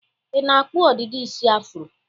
Ị na-akpụ ọdịdị isi afuro?